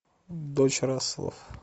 дочь расселов